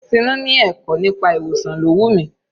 Tinú ni ẹ̀kọ́ nípa ìwòsàn ló wù mí.